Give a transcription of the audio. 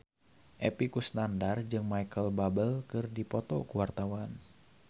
Epy Kusnandar jeung Micheal Bubble keur dipoto ku wartawan